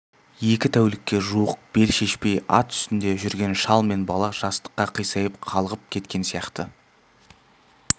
екі тәулікке жуық бел шешпей ат үстінде жүрген шал мен бала жастыққа қисайып қалғып кеткен сияқты